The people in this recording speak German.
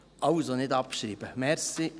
Also, nicht abschreiben, danke.